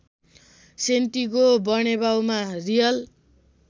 Santiago बर्नेब्युमा real